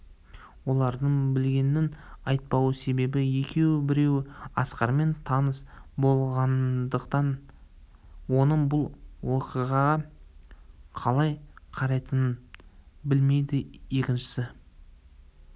олардың білгенін айтпау себебі екеу біреуі асқармен таныс болмағандықтан оның бұл уақиғаға қалай қарайтынын білмейді екіншісі